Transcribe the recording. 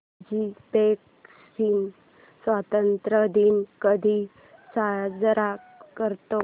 Uzbekistan स्वतंत्रता दिन कधी साजरा करतो